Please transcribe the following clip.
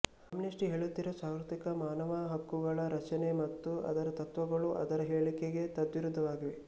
Amnesty ಹೇಲುತ್ತಿರುವ ಸಾರ್ವರ್ತ್ರಿಕ ಮಾನವ ಹಕ್ಕುಗಳ ರಕ್ಷಣೆ ಮತ್ತು ಅದರ ತತ್ವಗಳು ಅದರ ಹೇಳಿಕೆಗೆ ತದ್ವಿರುದ್ದವಾಗಿವೆ